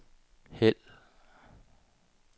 hæld